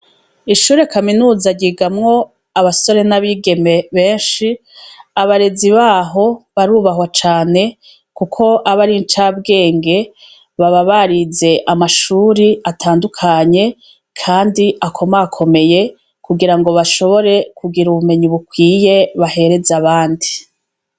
Ishure kaminuza ryigamwo abasore n'abigeme benshi. Abarezi baho barubahwa cane kuko aba ari incabwenge; baba barize amashuri atandukanye, kandi akomakomeye kugira ngo bashobore kugira ubumenyi bukwiye bahereza abandi.